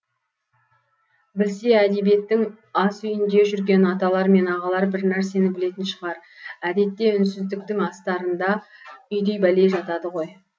білсе әдебиеттің ас үйінде жүрген аталар мен ағалар бірнәрсені білетін шығар әдетте үнсіздіктің астарында үйдей бәле жатады ғой